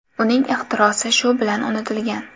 Uning ixtirosi shu bilan unutilgan.